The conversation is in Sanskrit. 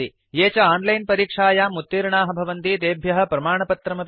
ये च आनलैन परीक्षायां उत्तीर्णाः भवन्ति तेभ्यः प्रमाणपत्रमपि ददाति